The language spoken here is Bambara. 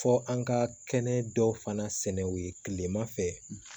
Fɔ an ka kɛnɛ dɔw fana sɛnɛw ye kilema fɛ